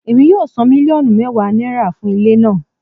Emi yoo san miliọnu mẹwa naira fun ile naa